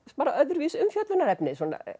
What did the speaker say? svona öðruvísi umfjöllunarefni